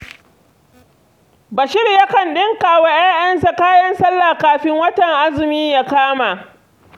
Bashir yakan ɗinka wa 'ya'yansa kayan sallah kafin watan azumi ya kama.